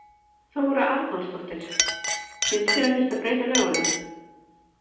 Þóra Arnórsdóttir: Finnst þér að þyrfti að breyta lögunum?